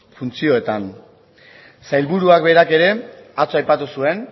funtzioetan sailburuak berak ere atzo aipatu zuen